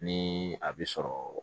Ni a bi sɔrɔ